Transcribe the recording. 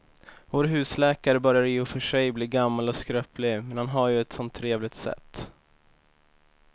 Vår husläkare börjar i och för sig bli gammal och skröplig, men han har ju ett sådant trevligt sätt!